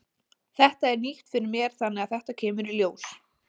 Þetta er nýtt fyrir mér þannig að þetta kemur í ljós.